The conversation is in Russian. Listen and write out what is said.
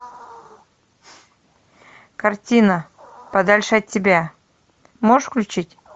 картина подальше от тебя можешь включить